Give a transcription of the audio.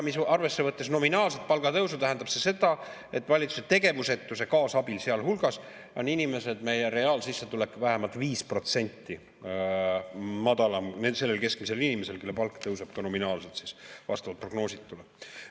Arvesse võttes nominaalset palgatõusu, tähendab see seda, et valitsuse tegevusetuse kaasabil on reaalsissetulek vähemalt 5% madalam sellel keskmisel inimesel, kelle palk tõuseb ka nominaalselt vastavalt prognoositule.